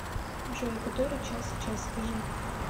джой который час сейчас скажи